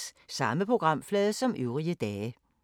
Samme programflade som øvrige dage